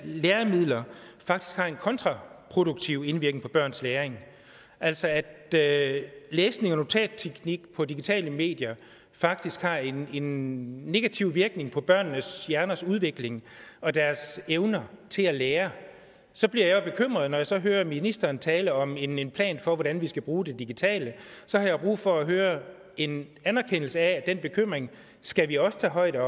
læringsmidler faktisk har en kontraproduktiv indvirkning på børns læring altså at at læsning og notatteknik på digitale medier faktisk har en en negativ virkning på børnenes hjerners udvikling og deres evne til at lære så bliver jeg jo bekymret når jeg så hører ministeren tale om en en plan for hvordan vi skal bruge det digitale og så har jeg brug for at høre en anerkendelse af at den bekymring skal vi også tage højde